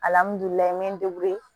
me